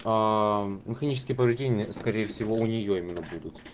аа механические повреждения скорее всего у неё именно будут